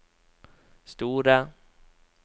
store